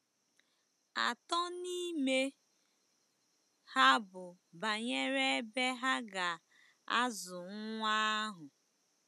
Atọ n'ime ha bụ banyere ebe ha ga-azụ nwa ahụ.